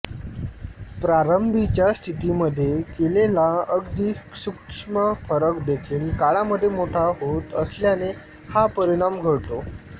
प्रारंभीच्या स्थितिमधे केलेला अगदी सूक्ष्म फरक देखील काळामधे मोठा होत असल्याने हा परिणाम घडतो